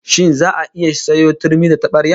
Shin za'a iya sayo turmi da tabarya?